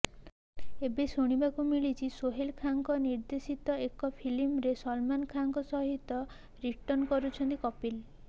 ଏବେ ଶୁଣିବାକୁ ମିଳୁଛି ସୋହେଲ ଖାନଙ୍କ ନିର୍ଦ୍ଦେଶିତ ଏକ ଫିଲ୍ମରେ ସଲମନ ଖାନଙ୍କ ସହିତ ରିଟର୍ଣ୍ଣ କରୁଛନ୍ତି କପିଲ୍